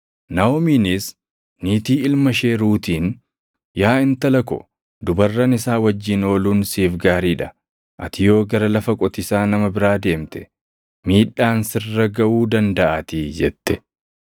Naaʼomiinis niitii ilma ishee Ruutiin, “Yaa intala ko, dubarran isaa wajjin ooluun siif gaarii dha; ati yoo gara lafa qotiisaa nama biraa deemte, miidhaan sirra gaʼuu dandaʼaatii” jette.